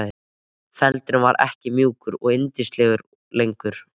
Feldurinn var ekki mjúkur og yndislegur lengur.